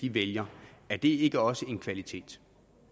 vælger er det ikke også en kvalitet